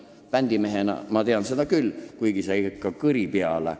Bändimehena ma tean seda küll ja see ei hakka kõri peale.